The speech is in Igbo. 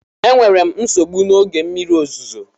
Enwere m nsogbu na oge mmiri ozuzo a